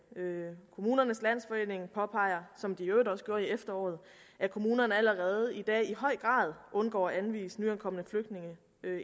kommunernes landsforening påpeger som de i øvrigt også gjorde i efteråret at kommunerne allerede i dag i høj grad undgår at anvise nyankomne flygtninge